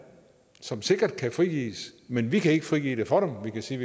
som sikkert kan frigives men vi kan ikke frigive det for dem vi kan sige